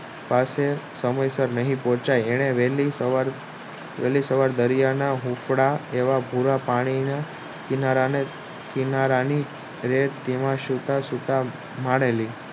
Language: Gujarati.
પાસે સમય સાર નહિ પોહ્ચાય વહેલી સવાર વહેલી સવારમાં હુંપડા જેવા ભૂરા પાણીને કિનારાને તેમાં ધીરે ધીરે સુતા સુતા માળેલી